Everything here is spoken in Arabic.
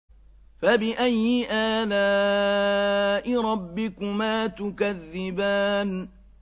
فَبِأَيِّ آلَاءِ رَبِّكُمَا تُكَذِّبَانِ